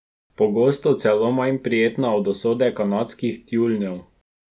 Pogosto celo manj prijetna od usode kanadskih tjulnjev.